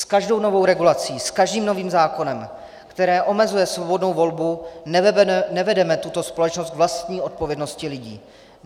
S každou novou regulací, s každým novým zákonem, který omezuje svobodnou volbu, nevedeme tuto společnost k vlastní odpovědnosti lidí.